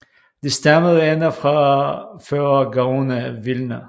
Det stammede endda fra før Gaon af Vilna